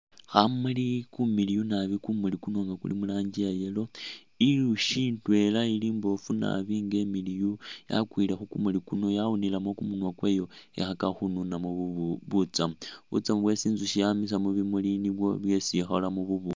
Khamuli kumiliyu naabi kumuli kuno kuli mu rangi iya yellow inzushi indwela ili imbofu nabi nga imiliyu yakwile khu kumuli kuno yawunilemo ku munwa kwayo I likho i khakakho khununamo butsamu, butsamu bwesi inzushi yamisa mubimuli nibwo bwesi i kholamo bu bushi.